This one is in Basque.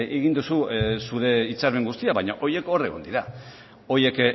egin duzu zure hitzarmen guztia baina horiek hor egon dira horiek